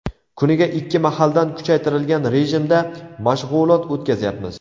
Kuniga ikki mahaldan kuchaytirilgan rejimda mashg‘ulot o‘tkazyapmiz.